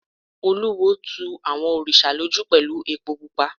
Olúwo tu àwọn òrìṣà lójú pẹ̀lú epo pupa.